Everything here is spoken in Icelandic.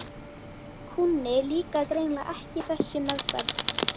Kúnni líkaði greinilega ekki þessi meðferð.